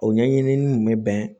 O ɲɛɲini kun bɛ bɛn